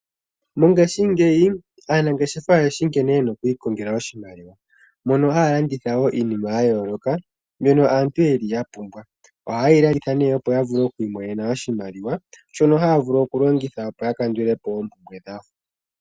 Mongashingeyi aanangeshefa oyeshi nkene yena oku ikongela oshimaliwa mono haya landithawo iinima ya yooloka mbyono aantu yeli ya pumbwa oha yeyi landitha opo ya vule oku imonena oshimaliwa shono haya vulu oku longitha opo ya kandulepo oompumbwe dhawo.